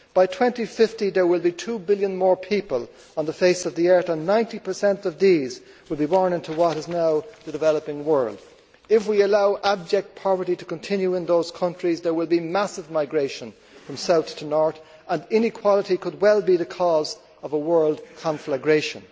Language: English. By 2050, there will be two billion more people on the face of the earth and 90 of these will be born into what is now the developing world. If we allow abject poverty to continue in those countries, there will be massive migration from south to north and inequality could well be the cause of a world conflagration.